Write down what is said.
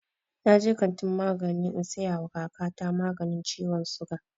Na je kantin magani in saya wa kaka ta maganin ciwon suga